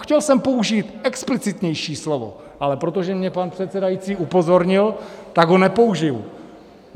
Chtěl jsem použít explicitnější slovo, ale protože mě pan předsedající upozornil, tak ho nepoužiji.